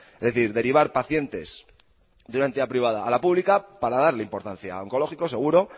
es decir derivar pacientes de una entidad privada a la pública para darle importancia al oncológico seguro